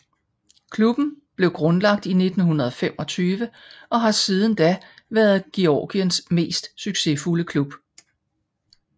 Klubben blev grundlagt i 1925 og har siden da været Georgiens mest succesfulde klub